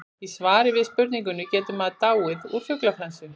í svari við spurningunni getur maður dáið úr fuglaflensu